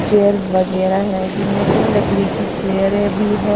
Chairs वगैरह हैं जिनमें से लकड़ी की चेयरें भी हैं।